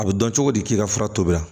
A bɛ dɔn cogo di k'i ka fura tobi